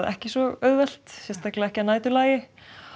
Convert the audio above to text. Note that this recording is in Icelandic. ekki svo auðvelt sérstaklega ekki að næturlagi